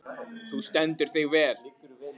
Þú stendur þig vel, Hersteinn!